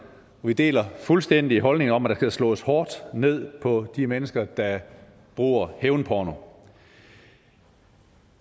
vi deler fuldstændig holdningen om at der skal slås hårdt ned på de mennesker der bruger hævnporno